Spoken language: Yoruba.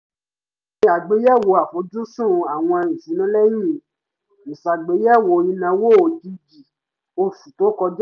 a ṣe àgbéyẹ̀wò àfojúsùn àwọn ìṣúná lẹ́yìn ìṣàgbéyẹ̀wò ìnáwó òjìjì oṣù tó kọjá